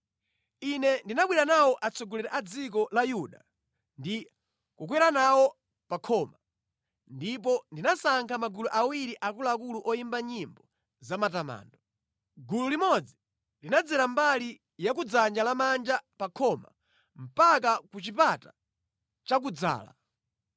Ine ndinabwera nawo atsogoleri a dziko la Yuda ndi kukwera nawo pa khoma. Ndipo ndinasankha magulu awiri akuluakulu oyimba nyimbo za matamando. Gulu limodzi linadzera mbali ya ku dzanja lamanja pa khoma mpaka ku Chipata cha Kudzala.